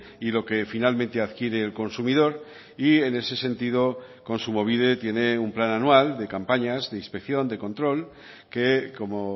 y lo que finalmente adquiere el consumidor y en ese sentido kontsumobide tiene un plan anual de campañas de inspección de control que como